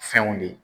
Fɛnw de